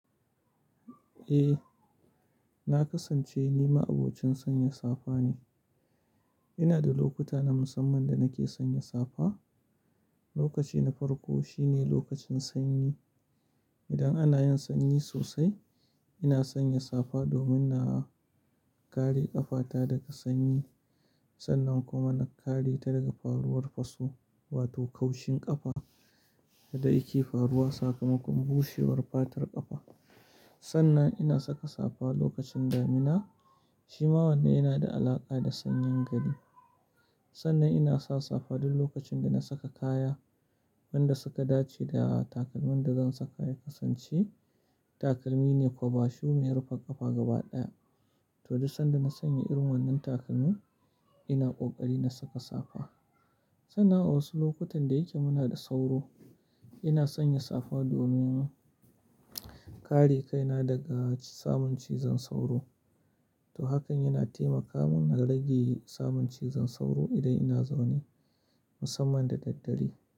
Eh, na kasance ni ma abokin sanya safa ne. Ina da lokuta na musamman da nake sanya safa. Lokaci na farko shine lokacin sanyi. Idan ana yin sanyi sosai, ina sanya safa domin na kare ƙafata daga sanyi. Sannan kuma na kare ta daga faruwar faso wato kaushin ƙafa da yake faruwa sakamakon bushewar fatar ƙafa. Sannan ina saka safa lokacin damina shi ma wannan yana da alaƙa da sanyin gari. Sannan ina sa safa duk lokacin da na saka kaya wanda suka dace da takalmin da zan saka ya kasance takalmi ne kwaba shub mai rufe ƙafa gaba ɗaya. To, duk sanda na sanya irin wannan takalmi ina ƙoƙari na saka safa. Sannan a wasu lokutan da yake muna da sauro ina sanya safa domin kare kaina daga samun cizon sauro. To, hakan yana taimaka mun na rage samun cizon sauro idan ina zaune musamman da dare.